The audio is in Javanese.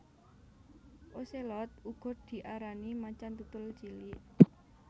Ocelot uga diarani macan tutul cilik